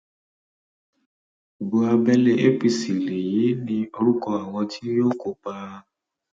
ibo abẹlé apc l èyí ní orúkọ àwọn tí yóò kópa